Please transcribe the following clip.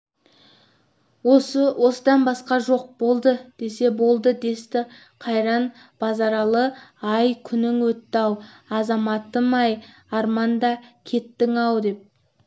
осы осыдан басқа жоқ болды десе болды десті қайран базаралы-ай күнің өтті-ау азаматым-ай арманда кеттің-ау деп